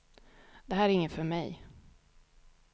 Det här är inget för mig.